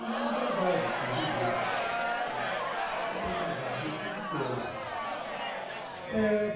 E é uma verdade, queridos, querida, é uma verdade, eu sinto pena, eh